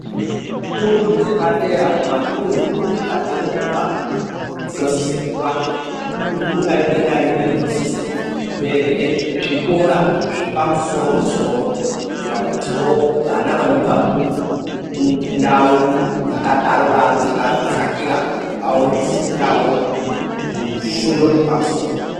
Fundo dzepadera kumatundu kwatinobva dzinosise kuwanda dundu narimwe narimwe dzinosise kuve rine zvikora zvepamsoro soro kuitira kuti wo vana vanobva kundau dzakadaro daro dzakadzakira vawane kufundawo fundo dzepamusoro.